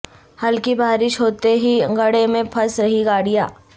ہلکی بارش ہو تے ہی گڈھے میں پھنس رہیں گاڑیاں